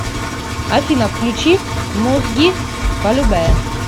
афина включи мозги полюбэ